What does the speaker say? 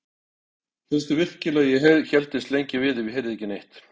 Hélstu virkilega að ég héldist lengi við ef ég heyrði ekki neitt?